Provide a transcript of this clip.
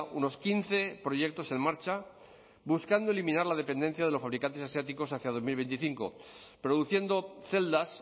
unos quince proyectos en marcha buscando eliminar la dependencia de los fabricantes asiáticos hacia dos mil veinticinco produciendo celdas